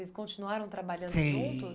Vocês continuaram trabalhando juntos? Sim